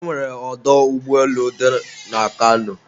e nwere ọdọ ụgbọelu dị na Kano?